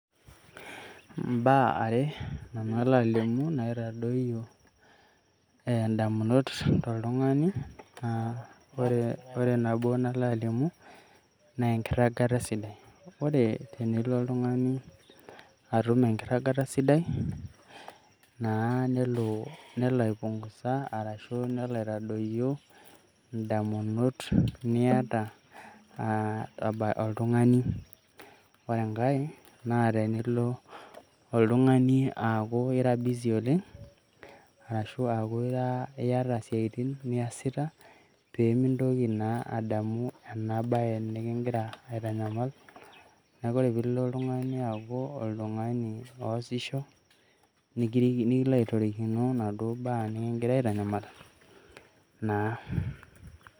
Imbaa are nanu alo alimu naitadoyio indamunot toltung'ani aa ore nabo nalo alimu naa enkiragata sidai, ore tenilo oltung'ani atum enkirragata sidai naa nelo aipungusa arashu nelo aitadoyio indamunot niata aa oltung'ani. Ore enkae naa tenilo oltung'ani aaku ira busy oleng' arashu aaku iata esiaitin niasita, pee mintoki naa adamu ena baye nikingira aitanyamal, neeku ore piilo oltung'ani aaku oltung'ani oosisho nilo aitorikino inaduo baa nikigira aitanyamal naa.